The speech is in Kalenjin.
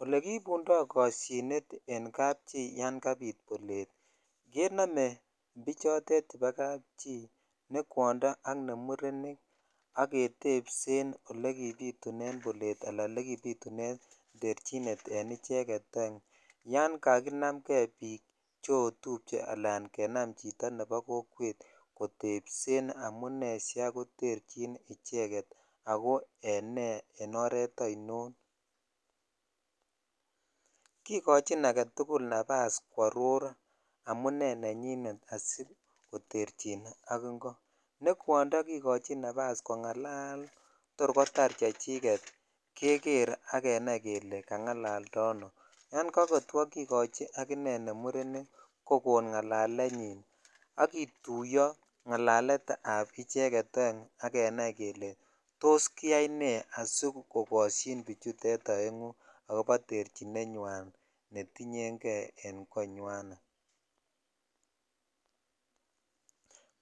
Ole kibundo koshinet en kachi yan kabit bolet kenome chotet chebo kappchi ne kwondo ak murenik ak ketepsen olekibitun bolet ala olekibitun terchinet en icheket ong yan kakinam kei bik cheotuche al bik chebo kokwet kotepsen amone sikai koterchin icheket ako ene en oret ainon kikochin agetukul nafas kworor amune nenyine asikoterchin ak ingo ne kwondo kikochin nafas kongalal ko tor kotar chechiket keker ak kenai kele kangalalta ano yan kakotar kikochi ak inei kokoon ngalalenyin ak kituyo ngalalet ab icheget oen ak kenai kele tos kiyai ne sikokoshin bichutet oengu akobo terchinenyan netinyen kei en konywanet